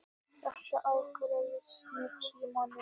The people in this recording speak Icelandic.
Þetta ágerðist með tímanum.